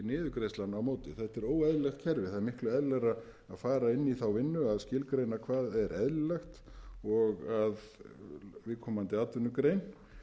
óeðlilegt kerfi það er miklu eðlilegra að fara inn í þá vinnu að skilgreina hvað er eðlilegt og að viðkomandi atvinnugrein